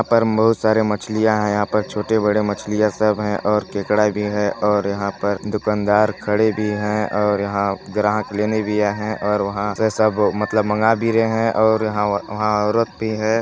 बहुत सारे मछलियां है यहाँ पर छोटे बड़े मछलियां सब है और केकड़ा भी है और यहाँ पर दुकानदार खड़े भी है और यहाँ ग्राहक लेने दिया है और वहाँ से सब मतलब मांगा भी रहे है और यहाँ औरत भी है।